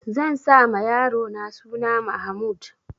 Zan sa ma yarona suna Mahmud.